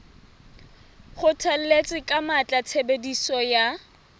kgothalletsa ka matla tshebediso ya